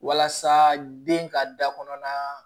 Walasa den ka da kɔnɔna